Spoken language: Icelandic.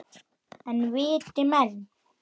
En viti menn.